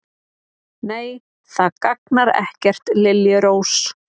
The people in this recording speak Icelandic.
Nei, það gagnar ekkert, liljurós.